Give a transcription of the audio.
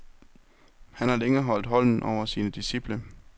Han har længe holdt hånden over sine disciple.